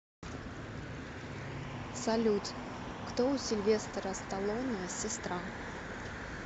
салют кто у сильвестора сталоне сестра